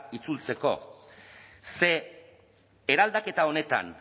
itzultzeko ze eraldaketa honetan